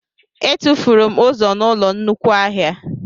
Etufuru m ụzọ n'ụlọ nnukwu ahịa